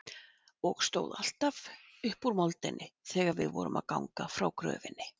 Og stóð alltaf upp úr moldinni þegar við vorum að ganga frá gröfinni.